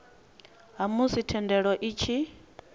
ha musi thendelo i tshi